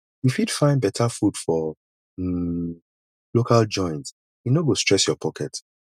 you fit find better food for um local joint e no go stress your pocket